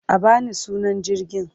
A ba ni sunan jirgin!